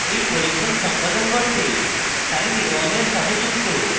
এই পরীক্ষণ সম্পাদন করতে sine a1 এর সাথে যুক্ত